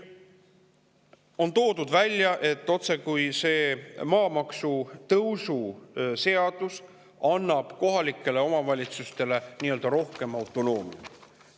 On toodud välja, otsekui see maamaksu tõusu seadus annab kohalikele omavalitsustele rohkem autonoomiat.